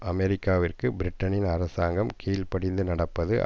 அமெரிக்காவிற்கு பிரிட்டனின் அரசாங்கம் கீழ் படிந்து நடப்பது